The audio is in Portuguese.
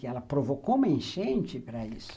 E ela provocou uma enchente para isso.